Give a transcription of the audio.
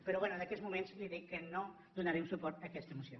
però bé en aquests moments li dic que no donarem suport a aquesta moció